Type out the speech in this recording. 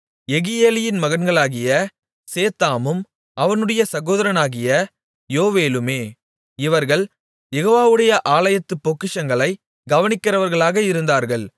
யெகியேலியின் மகன்களாகிய சேத்தாமும் அவனுடைய சகோதரனாகிய யோவேலுமே இவர்கள் யெகோவாவுடைய ஆலயத்துப் பொக்கிஷங்களை கவனிக்கிறவர்களாக இருந்தார்கள்